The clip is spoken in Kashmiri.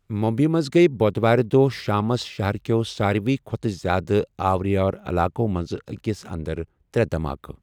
مٗمبیی منٛز گٔیہِ بۄدھوارِ دۄہ شامس شہر کیٚو سارِوٕے کھۄتہٕ زیادٕ آوٕرِیو علاقو منٛزٕ أکِس انٛدر ترٛےٚ دَھماکہٕ۔